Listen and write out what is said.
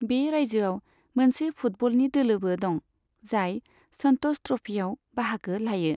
बे रायजोआव मोनसे फुटबलनि दोलोबो दं, जाय संत'ष ट्र'फीआव बाहागो लायो।